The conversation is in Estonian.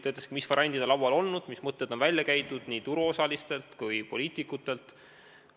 Ta ütles, mis variandid on laual olnud, mis mõtted on nii turuosalised kui ka poliitikud välja käinud.